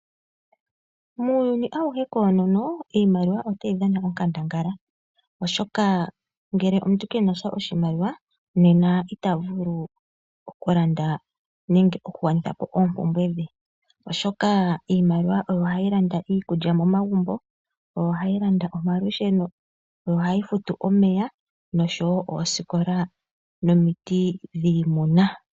Muuyuni auhe koonono iimaliwa otayi dhana onkandangala, oshoka ngele omuntu ke na sha oshimaliwa nena ita vulu okulanda nenge okugwanitha po oompumbwe dhe, oshoka iimaliwa oyo hayi landa iikulya momagumbo, oyo hayi landa omalusheno, oyo hayi futu omeya nosho wo oosikola nomiti dhiimuna.